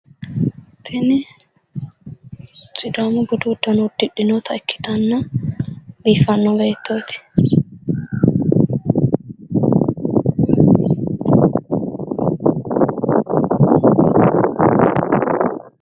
Tini sidaamu budu uddano uddidhinota ikkitanna biiffanno beettooti.